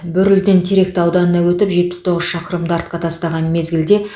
бөрліден теректі ауданына өтіп жетпіс тоғыз шақырымды артқа тастаған мезгілде